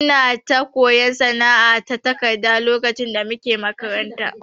Muna ta koyon sana'a na takarda lokacin da muke makaranta.